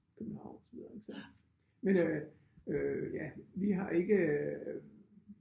København og så videre ik så men øh øh ja vi har ikke